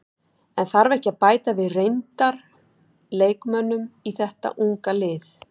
En þarf ekki að bæta við reyndar leikmönnum í þeta unga lið?